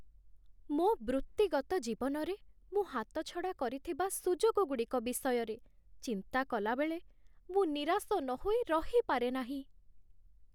ମୋ ବୃତ୍ତିଗତ ଜୀବନରେ ମୁଁ ହାତଛଡ଼ା କରିଥିବା ସୁଯୋଗଗୁଡ଼ିକ ବିଷୟରେ ଚିନ୍ତା କଲାବେଳେ, ମୁଁ ନିରାଶ ନହୋଇ ରହିପାରେ ନାହିଁ।